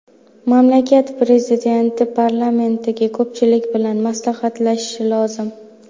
Mamlakat prezidenti parlamentdagi ko‘pchilik bilan maslahatlashishi lozim.